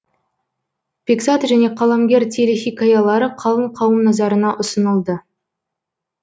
бекзат және қаламгер телехикаялары қалың қауым назарына ұсынылды